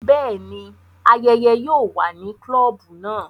Bẹẹni, ayẹyẹ yóò wà ni klobu náà